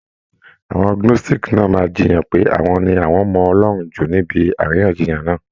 Àwọn Gnóstìkì náà máa jiyàn pé àwọn ni àwọn mọ Ọlọ́run jù níbi àríyànjiyàn náà.